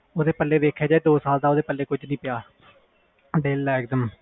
ਓਹਦੇ ਪੱਲੇ ਦੇਖਿਆ ਜਾਵੇ ਦੋ ਸਾਲ ਵਿਚ ਕੁਛ ਨਹੀਂ ਪਿਆ